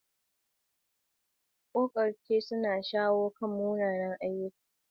Ta yaya za mu taimaki mutane a ƙoƙarce-ƙoƙarcensu na shawo kan munanan ayyukan zamantakewa?